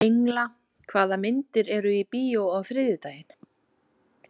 Engla, hvaða myndir eru í bíó á þriðjudaginn?